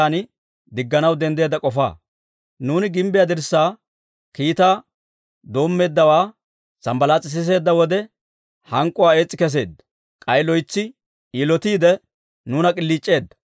Nuuni gimbbiyaa dirssaa kiitaa doommeeddawaa Sanbbalaas'i siseedda wode hank'k'uwaa ees's'i kesseedda; k'ay loytsi yilotiide, nuuna k'iliic'eedda.